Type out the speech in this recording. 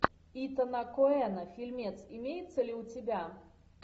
итана коэна фильмец имеется ли у тебя